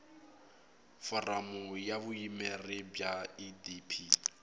foramu ya vuyimeri bya idp